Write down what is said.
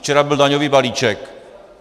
Včera byl daňový balíček.